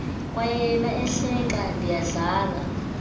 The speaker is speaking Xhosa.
kwayena ehleka ndiyadlala